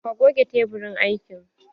Ka goge teburin aikin?